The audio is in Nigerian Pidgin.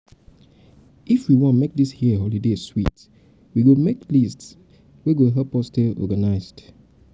if we um wan make dis year holiday sweet we go make list wey go um help um us stay organized.